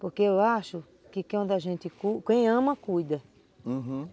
Porque eu acho que quem ama, cuida, uhum.